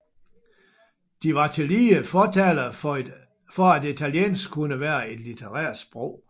De var tillige fortalere for at italiensk kunne være et litterært sprog